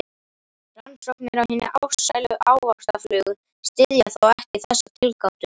Rannsóknir á hinni ástsælu ávaxtaflugu styðja þó ekki þessa tilgátu.